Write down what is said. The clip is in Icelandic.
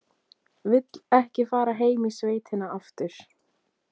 Vill ekki fara heim í sveitina aftur.